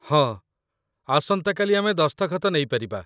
ହଁ, ଆସନ୍ତାକାଲି ଆମେ ଦସ୍ତଖତ ନେଇପାରିବା।